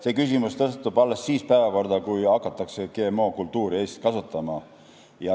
See küsimus tõstatub alles siis, kui Eestis hakatakse GM-kultuure kasvatama.